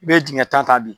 I bɛ dingɛ tan ta bi